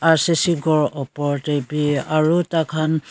r c c ghor upor de b aro takan.